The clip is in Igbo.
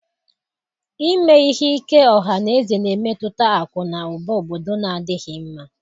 Ime ihe ike ọha na eze na-emetụta akụ na ụba obodo na-adịghị mma.